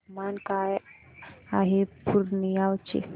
तापमान काय आहे पूर्णिया चे